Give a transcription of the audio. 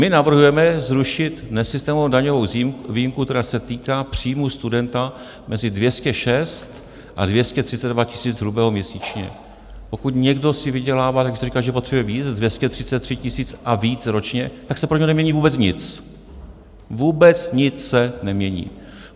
My navrhujeme zrušit nesystémovou daňovou výjimku, která se týká příjmů studenta mezi 206 a 232 tisíc hrubého měsíčně, pokud někdo si vydělává, jak se říká, že potřebuje víc, 233 tisíc a víc ročně, tak se pro něj nemění vůbec nic, vůbec nic se nemění.